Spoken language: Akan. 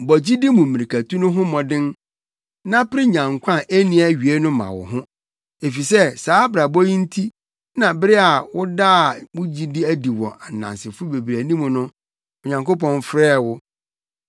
Bɔ gyidi mu mmirikatu no ho mmɔden na pere nya nkwa a enni awiei no ma wo ho, efisɛ saa abrabɔ yi nti na bere a wodaa wo gyidi adi wɔ nnansefo bebree anim no, Onyankopɔn frɛɛ wo.